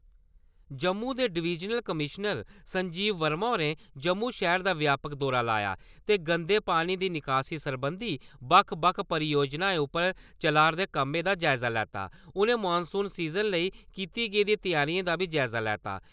जम्मू दे divisional commissioner Sanjeev Verma होरें जम्मू शैह्‌र दा व्यापक दौरा लाया ते गंदे पानी दी निकासी सरबंधी बक्ख बक्ख परियोजनाएं उप्पर चला'रदे कम्मै दा जायजा लैता उ'नें मौनसून सिजन लेई कीती गेदी त्यारियें दा बी जायजा लैता।